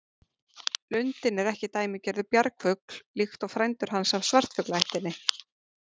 Lundinn er ekki dæmigerður bjargfugl líkt og frændur hans af svartfuglaættinni.